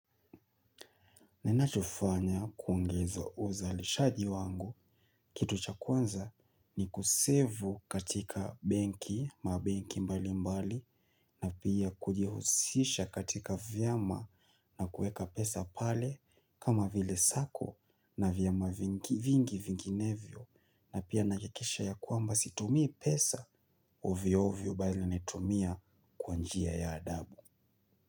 Ninachofanya kuongeza uzalishaji wangu kitu cha kwanza ni kusevu katika benki mbali mbali na pia kujihusisha katika vyama na kueka pesa pale kama vile sako na vyama vingi vinginevyo na pia nahakisha ya kwamba situmii pesa ovyovyo bali netumia kwa njia ya adabu.